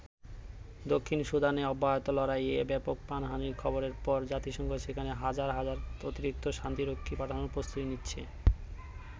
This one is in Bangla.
দক্ষিণ সুদানে অব্যাহত লড়াইয়ে ব্যাপক প্রাণহানির খবরের পর জাতিসংঘ সেখানে হাজার হাজার অতিরিক্ত শান্তিরক্ষী পাঠানোর প্রস্তুতি নিচ্ছে।